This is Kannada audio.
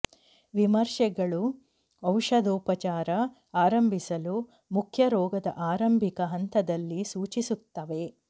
ವಿಮರ್ಶೆಗಳು ಔಷಧೋಪಚಾರ ಆರಂಭಿಸಲು ಮುಖ್ಯ ರೋಗದ ಆರಂಭಿಕ ಹಂತದಲ್ಲಿ ಸೂಚಿಸುತ್ತವೆ